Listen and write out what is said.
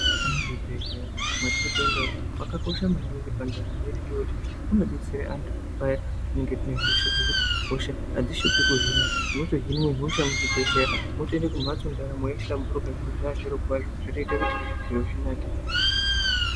Muzvibhehleya matiri kuenda umu makakosha maningi pandaramo yedu ngekuti munodetsera antu paya patinenge tinehosha zvokuti hosha hadzishupi kuhina. Munotohinwe hosha muchibhehleya motoende kumhatso ndaramo yahlamburuka zviro zvaa zvirokwazvo zvotoite kuti zviro zvinake